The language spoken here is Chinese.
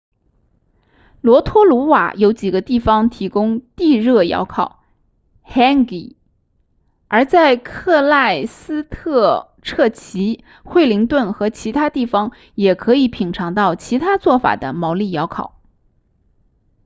罗托鲁瓦有几个地方提供地热窑烤 hangi 而在克赖斯特彻奇惠灵顿和其他地方也可以品尝到其他做法的毛利窑烤